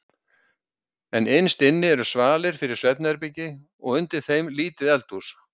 En innst inni eru svalir fyrir svefnherbergi og undir þeim lítið eldhús.